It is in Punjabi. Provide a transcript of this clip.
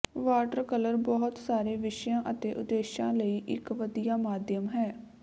ਵਾਟਰ ਕਲਰ ਬਹੁਤ ਸਾਰੇ ਵਿਸ਼ਿਆਂ ਅਤੇ ਉਦੇਸ਼ਾਂ ਲਈ ਇੱਕ ਵਧੀਆ ਮਾਧਿਅਮ ਹੈ